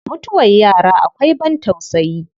Mutuwar yara akwai ban tausayi.